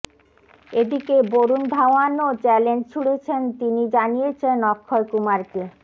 এদিকে বরুণ ধাওয়ানও চ্যালেঞ্জ ছুঁড়েছেন তিনি জানিয়েছেন অক্ষয় কুমারকে